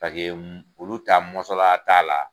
Paseke olu ta mɔnsola t'a la.